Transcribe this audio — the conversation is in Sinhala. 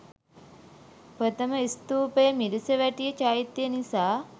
ප්‍රථම ස්තූපය මිරිසවැටිය චෛත්‍ය නිසා